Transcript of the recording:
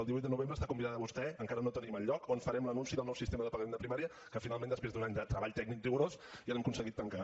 el divuit de novembre hi està convidada vostè encara no tenim el lloc on farem l’anunci del nou sistema de pagament de primària que finalment després d’un any de treball tècnic rigorós ja l’hem aconseguit tancar